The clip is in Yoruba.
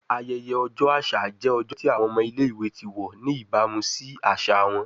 Ayẹyẹ ọjọ aṣa jẹ ọjọ ti awọn ọmọ ile-iwe ti wọ ni ibamu si aṣa wọn